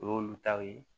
O y'olu taw ye